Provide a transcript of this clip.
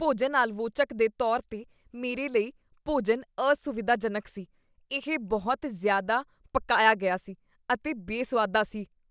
ਭੋਜਨ ਆਲਵੋਚਕ ਦੇ ਤੌਰ 'ਤੇ ਮੇਰੇ ਲਈ, ਭੋਜਨ ਅਸੁਵਿਧਾਜਨਕ ਸੀ। ਇਹ ਬਹੁਤ ਜ਼ਿਆਦਾ ਪਕਾਇਆ ਗਿਆ ਸੀ ਅਤੇ ਬੇਸੁਆਦਾ ਸੀ।